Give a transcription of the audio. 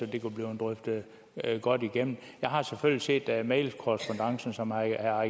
det kunne blive drøftet godt igennem jeg har selvfølgelig set mailkorrespondancen som herre